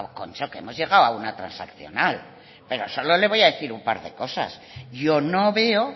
kontxo que hemos llegado a una transaccional pero solo le voy a decir un par de cosas yo no veo